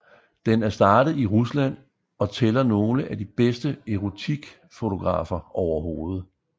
Den er startet i Rusland og tæller nogle af de bedste erotikfotografer overhovedet